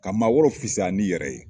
Ka maa wɛrɛ fisaya ni yɛrɛ ye